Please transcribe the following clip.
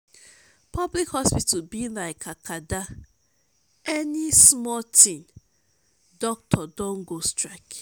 public hospital be lyk acada any smal tin dokitor don go strike